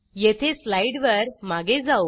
येथे स्लाइड वर मागे जाऊ